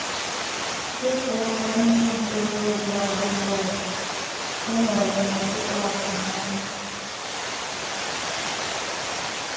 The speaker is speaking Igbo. Dị ka onye ntorobịa ọ um bụla ọzọ, enwere m ọtụtụ atụmanya.